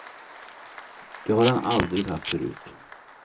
Det har han aldrig haft förut.